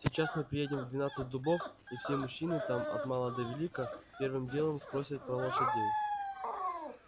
сейчас мы приедем в двенадцать дубов и все мужчины там от мала до велика первым делом спросят про лошадей